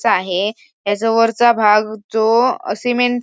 चा आहे याचा वरचा भाग जो सीमेंट --